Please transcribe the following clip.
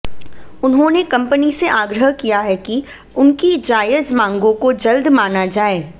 उन्होंने कंपनी से आग्रह किया है कि उनकी जायज मांगों को जल्द माना जाए